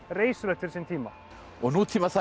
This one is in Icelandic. reisulegt fyrir sinn tíma og